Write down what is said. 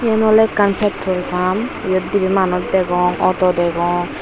yen oley ekkan petrol pump yot dibey manuj degong auto degong.